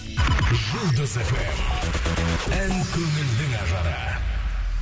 жұлдыз фм ән көңілдің ажары